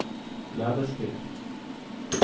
Lebesby